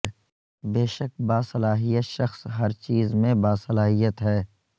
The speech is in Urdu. بے شک باصلاحیت شخص ہر چیز میں باصلاحیت ہے